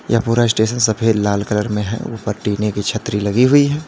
यह पूरा स्टेशन सफेद लाल कलर मे है ऊपर टीने की छतरी लगी हुई है।